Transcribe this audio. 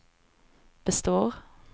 består